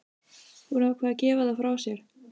Hún ákvað að gefa það frá sér.